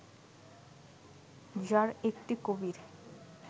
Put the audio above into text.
যার একটি কবির